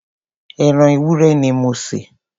ẹran ewúrẹ́ ni mo se.